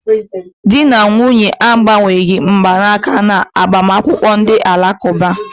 Di na nwunye a agbanweghị mgbanaka na agbamakwụkwọ Ndi alakuba.